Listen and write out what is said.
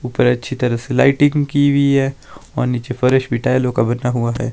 ऊपर अच्छी तरह से लाइटिंग की हुई है और नीचे फर्श भी टाइलों का बना हुआ है।